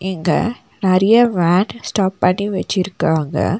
இங்க நறியா van stop பண்ணி வெச்சுருக்காங்க.